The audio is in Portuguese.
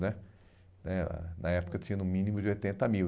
Né né ah na época tinha no mínimo de oitenta mil.